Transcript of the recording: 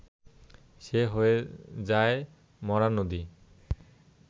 সে হয়ে যায় মরা নদী